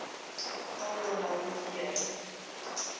carl wilhelm scheele